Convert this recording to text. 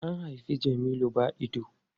An haifi Jamilu ba idanu.